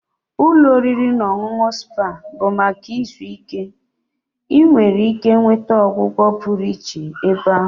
Ụlọ oriri na ọṅụṅụ spa bụ maka izu ike. Ị nwere ike nweta ọgwụgwọ pụrụ iche ebe ahụ